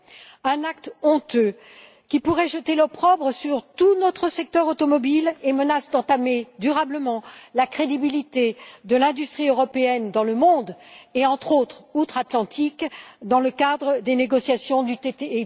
C'est un acte honteux qui pourrait jeter l'opprobre sur tout notre secteur automobile et menace d'entamer durablement la crédibilité de l'industrie européenne dans le monde et, entre autres, outre Atlantique, dans le cadre des négociations du TTIP.